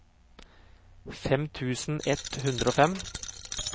fem tusen ett hundre og fem